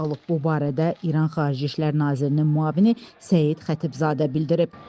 Bu barədə İran Xarici İşlər Nazirinin müavini Səid Xətibzadə bildirib.